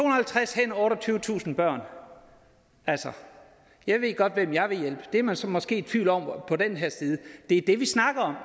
og halvtreds hænder otteogtyvetusind børn altså jeg ved godt hvem jeg vil hjælpe det er man så måske i tvivl om på den her side det er det vi snakker om